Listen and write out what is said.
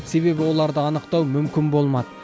себебі оларды анықтау мүмкін болмады